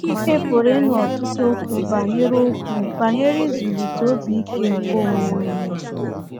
Ị pụrụ ịnụ ọtụtụ okwu banyere okwu banyere ịzụlite obi ike nke onwe onye.